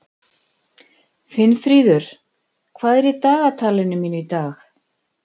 Finnfríður, hvað er í dagatalinu mínu í dag?